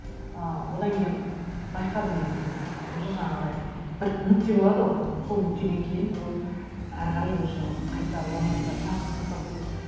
ы одан кейін байқадым енді уже жаңағыдай бір нүкте болады ғой сол нүктеден кейін ол әрі қарай уже қайта оралмайтындай процесс басталып кетеді